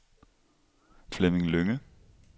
Flemming Lynge